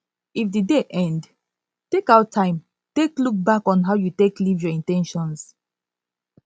if di day end take out time take look back on how you take live your in ten tions